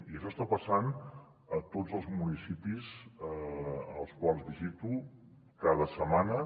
i això està passant a tots els municipis que visito cada setmana